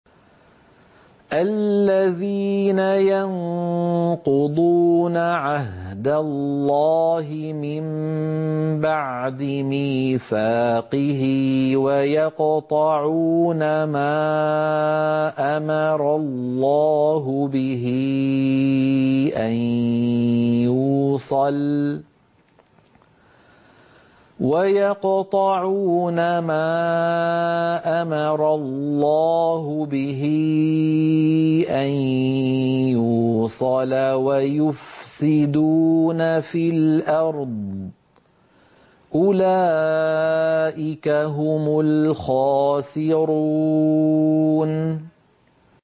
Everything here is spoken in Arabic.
الَّذِينَ يَنقُضُونَ عَهْدَ اللَّهِ مِن بَعْدِ مِيثَاقِهِ وَيَقْطَعُونَ مَا أَمَرَ اللَّهُ بِهِ أَن يُوصَلَ وَيُفْسِدُونَ فِي الْأَرْضِ ۚ أُولَٰئِكَ هُمُ الْخَاسِرُونَ